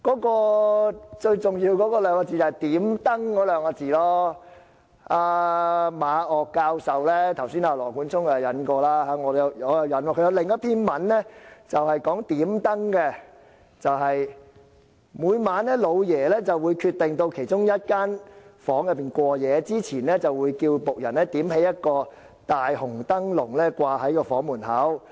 羅冠聰議員剛才引述了馬嶽教授的評論，我現在想引述馬教授另一篇文章，是有關"點燈"的："每晚'老爺'會決定到其中一人房中過夜，之前會叫僕人點起一個大紅燈籠掛在該房門口。